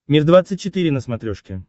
мир двадцать четыре на смотрешке